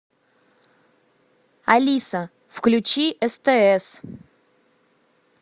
алиса включи стс